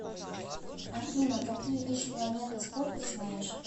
афина какие иж планета спорт ты знаешь